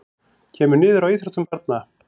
Kemur niður á íþróttum barna